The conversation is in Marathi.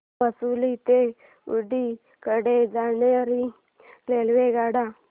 म्हैसूर ते ऊटी कडे जाणार्या रेल्वेगाड्या